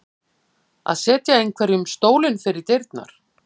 Að setja einhverjum stólinn fyrir dyrnar